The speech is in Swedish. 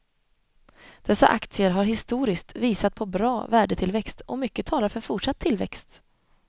Dessa aktier har historiskt visat på bra värdetillväxt och mycket talar för fortsatt tillväxt.